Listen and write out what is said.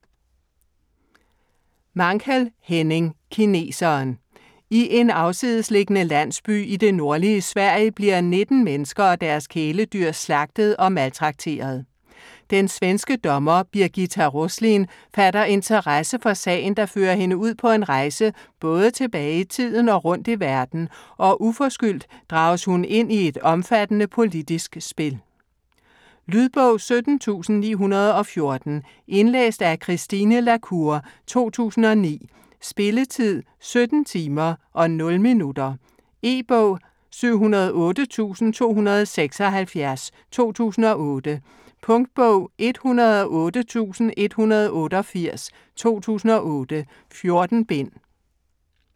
Mankell, Henning: Kineseren I en afsidesliggende landsby i det nordlige Sverige bliver 19 mennesker og deres kæledyr slagtet og maltrakteret. Den svenske dommer Birgitta Roslin fatter interesse for sagen der fører hende ud på en rejse både tilbage i tiden og rundt i verden, og uforskyldt drages hun ind i et omfattende politisk spil. Lydbog 17914 Indlæst af Christine la Cour, 2009. Spilletid: 17 timer, 0 minutter. E-bog 708276 2008. Punktbog 108188 2008. 14 bind.